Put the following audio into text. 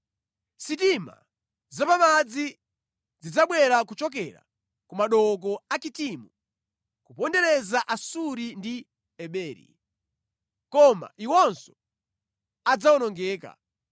Sitima zapamadzi zidzabwera kuchokera ku madooko a Kitimu; kupondereza Asuri ndi Eberi, koma iwonso adzawonongeka.”